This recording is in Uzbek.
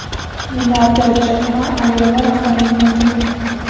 Milliarder Jek Ma Alibaba rahbarligidan ketdi.